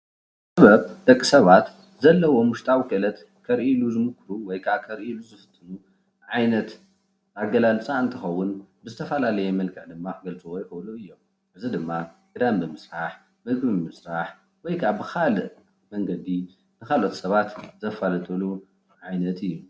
ጥበብ ደቂ ሰባት ዘለዎም ውሽጣዊ ክእለት ዘርእይሉ ወይ ከዓ ከርእይሉ ዝክእሉ ዓይነት ኣገላልፃ እንትኸውን ብዝተፋላለየ መልክዕ ድማ ክገልፅዎ ይክእሉ እዮም፡፡ እዚ ድማ ክዳን ብምስራሕ፣ ምግቢ ምስራሕ ወይ ከዓ ብካሊእ መንገዲ ንካልኦት ሰባት ዘፋልጥሉ ዓይነት እዩ፡፡